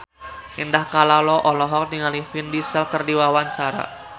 Indah Kalalo olohok ningali Vin Diesel keur diwawancara